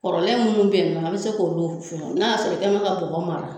Kɔrɔlen munnu be ye nɔ a be se k'olu fɛn n'a y'a sɔrɔ e kɛ bɛ ka bɔgɔ mara